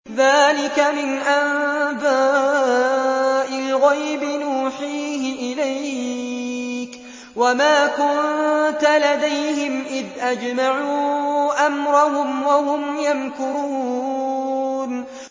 ذَٰلِكَ مِنْ أَنبَاءِ الْغَيْبِ نُوحِيهِ إِلَيْكَ ۖ وَمَا كُنتَ لَدَيْهِمْ إِذْ أَجْمَعُوا أَمْرَهُمْ وَهُمْ يَمْكُرُونَ